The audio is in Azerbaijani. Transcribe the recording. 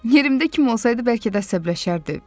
Yerimdə kim olsaydı bəlkə də əsəbləşərdi.